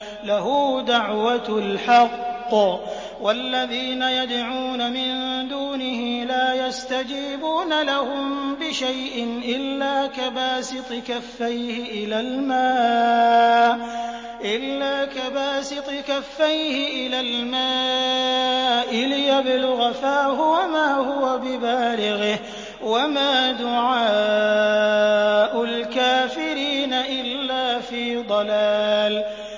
لَهُ دَعْوَةُ الْحَقِّ ۖ وَالَّذِينَ يَدْعُونَ مِن دُونِهِ لَا يَسْتَجِيبُونَ لَهُم بِشَيْءٍ إِلَّا كَبَاسِطِ كَفَّيْهِ إِلَى الْمَاءِ لِيَبْلُغَ فَاهُ وَمَا هُوَ بِبَالِغِهِ ۚ وَمَا دُعَاءُ الْكَافِرِينَ إِلَّا فِي ضَلَالٍ